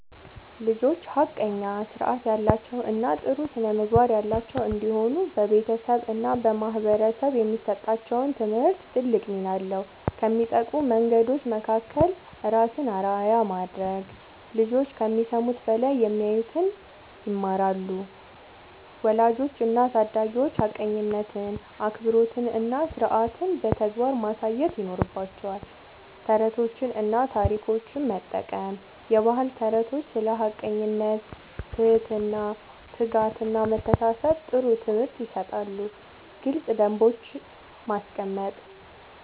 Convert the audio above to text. ልጆች ሐቀኛ፣ ሥርዓት ያላቸው እና ጥሩ ስነ-ምግባር ያላቸው እንዲሆኑ በቤተሰብ እና በማህበረሰብ የሚሰጣቸው ትምህርት ትልቅ ሚና አለው። ከሚጠቅሙ መንገዶች መካከል፦ ራስን አርአያ ማድረግ፦ ልጆች ከሚሰሙት በላይ የሚያዩትን ይማራሉ። ወላጆች እና አሳዳጊዎች ሐቀኝነትን፣ አክብሮትን እና ሥርዓትን በተግባር ማሳየት ይኖርባቸዋል። ተረቶችን እና ታሪኮችን መጠቀም፦ የባህል ተረቶች ስለ ሐቀኝነት፣ ትህትና፣ ትጋት እና መተሳሰብ ጥሩ ትምህርት ይሰጣሉ። ግልጽ ደንቦች ማስቀመጥ፦